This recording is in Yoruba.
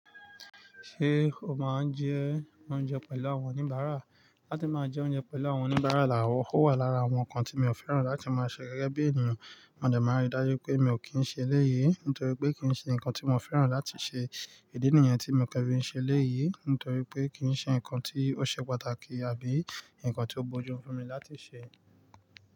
Ṣé o máa ń jẹ oúnjẹ pẹ̀lú àwọn oníbàárà? Látí máa jẹ oúnjẹ pẹ̀lú àwọn oníbàárà la wọ̀, ó wà lára àwọn ǹkan tí mi ò fẹ́ràn láti máa ṣe gẹ́gẹ́ bí ènìyàn. Wọn jẹ máa rí dájú pé mi ò kí ń ṣe léyé, nítorí pé kì ń ṣe ǹkan tí wọ́n fẹ́ràn láti ṣe. Ìdí nìyẹn tí mo ke fi n se eleyii, nítorí pé kì ń ṣe ǹkan tí ó ṣe pàtàkì àbí ǹkan tí ó bójú mu fún mi láti ṣe.